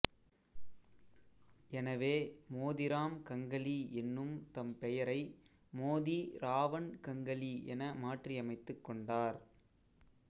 எனவே மோதிராம் கங்கலி என்னும் தம் பெயரை மோதி ராவண் கங்கலி என மாற்றி அமைத்துக் கொண்டார்